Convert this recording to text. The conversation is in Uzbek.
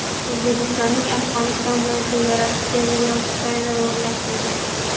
O‘zbekistonning Afg‘oniston bilan chegarasiga temir yo‘l skaneri o‘rnatildi.